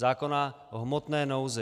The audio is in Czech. Zákona o hmotné nouzi.